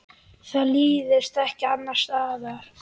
Það líðst ekki annars staðar.